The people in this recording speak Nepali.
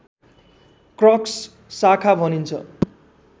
क्रक्स शाखा भनिन्छ